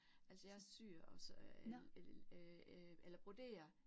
Altså jeg syer også el el eller broderer